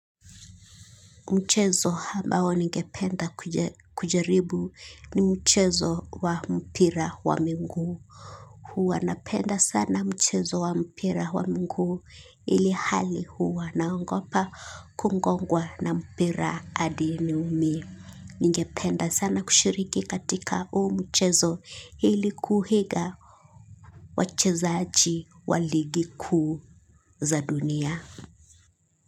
Mchezo ambao ningependa kujaribu ni mchezo wa mpira wa miguu. Huwa napenda sana mchezo wa mpira wa miguu ilihali huwa naogopa kugongwa na mpira hadi niumie ningependa sana kushiriki katika huu mchezo ili kuiga wachezaji wa ligi kuu za dunia.